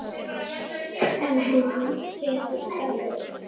En hún getur dáið